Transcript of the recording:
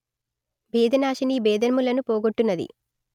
భేదనాశినీ భేదములను పోగొట్టునది